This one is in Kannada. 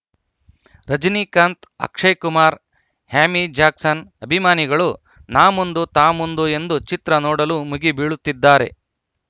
ರಜನಿಕಾಂತ್‌ ಅಕ್ಷಯ್‌ ಕುಮಾರ್‌ ಆ್ಯಮಿ ಜಾಕ್ಸನ್‌ ಅಭಿಮಾನಿಗಳು ನಾ ಮುಂದು ತಾ ಮುಂದು ಎಂದು ಚಿತ್ರ ನೋಡಲು ಮುಗಿ ಬೀಳುತ್ತಿದ್ದಾರೆ